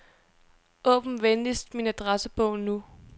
Åbn venligst min adressebog nu.